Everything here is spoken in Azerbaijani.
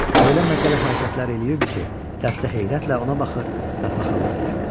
O elə məsələ hərəkətləri eləyirdi ki, dəstə heyrətlə ona baxır və paxallıq eləyirdi.